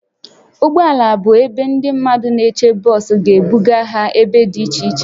Ụgbọ ala bụ ebe ndị mmadụ na-eche bọs ga-ebuga ha ebe dị iche iche